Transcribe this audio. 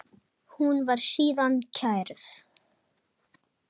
Hún var síðan kærð.